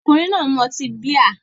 Ọkùnrin náà ń mu ọtí bíà